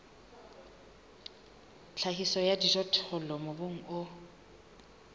tlhahiso ya dijothollo mobung o